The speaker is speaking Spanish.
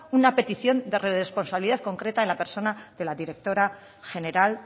una petición de responsabilidad concreta en la persona de la directora general